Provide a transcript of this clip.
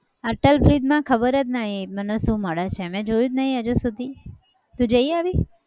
Atal bridge માં ખબર જ નહિ. મને શું મળે છે? મેં જોયું જ નહીં હજુ સુધી. તું જઈ આવી?